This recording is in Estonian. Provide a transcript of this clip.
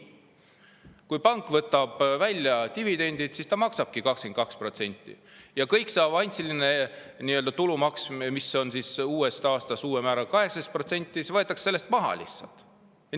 Kui pank võtab dividendi välja, siis ta maksabki 22%, ja kogu see avansiline tulumaks, mis on uuest aastast uue määraga, 18%, võetakse sellest lihtsalt maha.